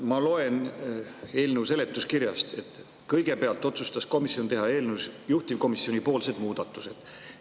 Ma loen eelnõu seletuskirjast, et kõigepealt otsustas komisjon teha eelnõus juhtivkomisjonipoolsed muudatused.